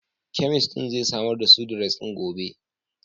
Kemist din zai samar da Sudrez ɗin gobe.